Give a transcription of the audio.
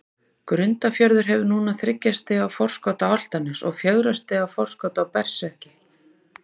Grundarfjörður hefur núna þriggja stiga forskot á Álftanes og fjögurra stiga forskot á Berserki.